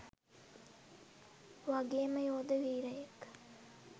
වගේම යෝධ වීරයෙක්.